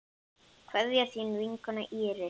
Kveðja, þín vinkona Íris.